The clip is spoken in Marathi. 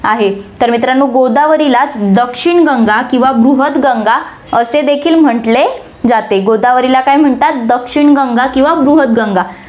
आहे. तर मित्रांनो, गोदावरीला दक्षिण गंगा किंवा बृहत गंगा असे देखील म्हंटले जाते. गोदावरीला काय म्हणतात दक्षिण गंगा किंवा बृहत गंगा